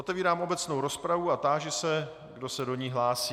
Otevírám obecnou rozpravu a táži se, kdo se do ní hlásí.